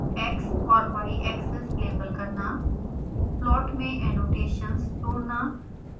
x और y axes label करना plot में एनोटेशन्स जोड़ना